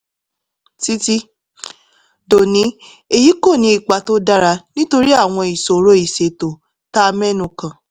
títí dòní èyí kò ní ipa tó dára nítorí àwọn ìṣòro ìṣètò tá a mẹ́nu kàn